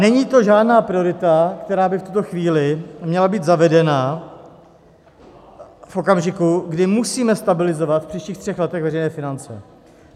Není to žádná priorita, která by v tuto chvíli měla být zavedena v okamžiku, kdy musíme stabilizovat v příštích třech letech veřejné finance.